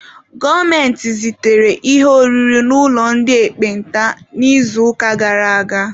Gọọmenti zitere ihe oriri n'ụlọ ndị ekpenta n'izuụka gara aga.